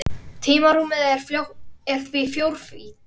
Tímarúmið er því fjórvítt.